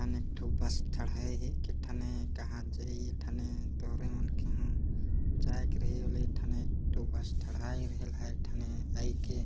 एक ठो बस ठढाहा यल हे ए ठने कहा जाई ए ठाने तूहरे मन के जाएक रही एक ठो बस थड़ाये रहेल ठढाहायल हइ के --